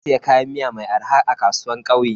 Na siya kayan miya mai arha a kasuwan kauye.